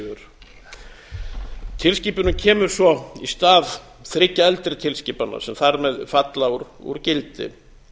passífur tilskipunin kemur svo í stað þriggja eldri tilskipana sem þar með falla úr gildi